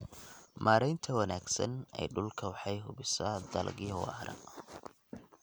Maareynta wanaagsan ee dhulka waxay hubisaa dalagyo waara.